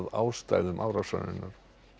ástæðum árásarinnar